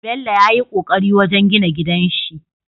Bello yayi ƙoƙari wajan gina gidanshi